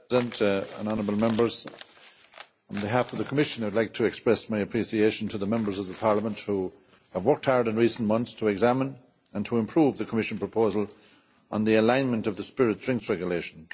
Mr President, honourable Members, on behalf of the Commission I'd like to express my appreciation to the Members of Parliament who have worked hard in recent months to examine and to improve the Commission proposal on the alignment of the spirit drinks regulation.